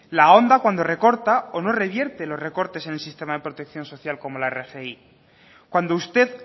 la ahonda cuando recorta o no revierte los recortes en el sistema de protección social como la rgi cuando usted